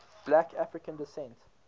black african descent